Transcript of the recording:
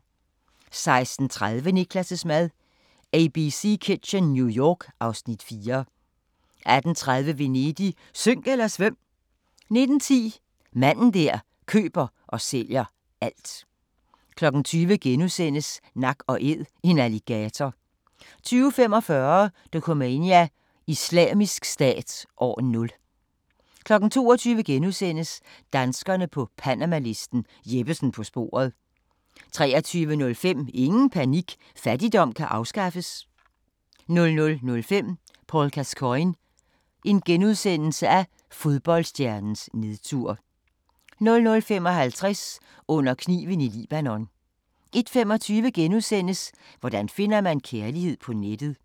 16:30: Niklas' mad – Abc Kitchen, New York (Afs. 4) 18:30: Venedig – synk eller svøm! 19:10: Manden der køber og sælger alt 20:00: Nak & Æd – en alligator (6:10)* 20:45: Dokumania: Islamisk Stat – år 0 22:00: Danskerne på Panamalisten – Jeppesen på sporet * 23:05: Ingen panik – fattigdom kan afskaffes! 00:05: Paul Gascoigne – fodboldstjernens nedtur * 00:55: Under kniven i Libanon 01:25: Hvordan finder man kærligheden på nettet? *